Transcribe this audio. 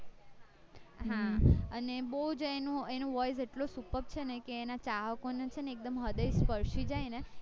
અને બૌ જ એનું એનું voice એટલે superb છે ને કે એના ચાહકોને ચેને એક હૃદય સ્પર્શી જાય ને એવું એ ગીત ગાય છે